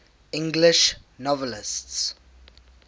english novelists